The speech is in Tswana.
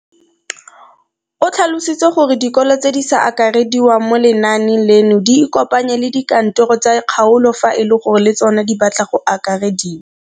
O tlhalositse gore dikolo tse di sa akarediwang mo lenaaneng leno di ikopanye le dikantoro tsa kgaolo fa e le gore le tsona di batla go akarediwa.